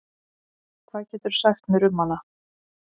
Hvað geturðu sagt mér um hana?